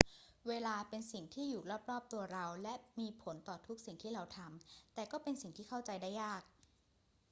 เวลาเป็นสิ่งที่อยู่รอบ ๆ ตัวเราและมีผลต่อทุกสิ่งที่เราทำ แต่ก็เป็นสิ่งที่เข้าใจได้ยาก